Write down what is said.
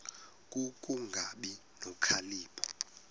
ku kungabi nokhalipho